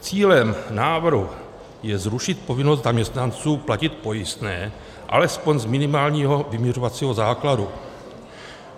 Cílem návrhu je zrušit povinnost zaměstnanců platit pojistné alespoň z minimálního vyměřovacího základu.